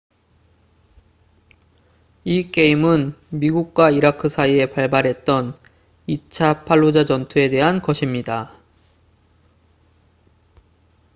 이 게임은 미국과 이라크 사이에 발발했던 2차 팔루자 전투에 대한 것입니다